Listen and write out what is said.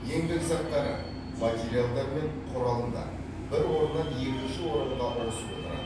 еңбек заттары материалдар мен құралымдар бір орыннан екінші орынға ауысып отырады